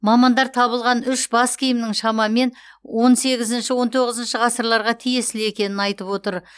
мамандар табылған үш бас киімнің шамамен он сегізінші он тоғызыншы ғасырларға тиесілі екенін айтып отыр